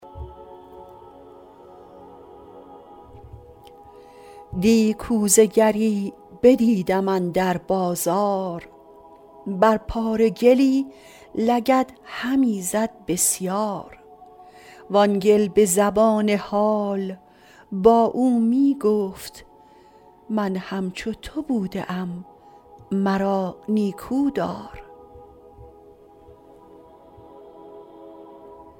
دی کوزه گری بدیدم اندر بازار بر پاره گلی لگد همی زد بسیار وآن گل به زبان حال با او می گفت من همچو تو بوده ام مرا نیکودار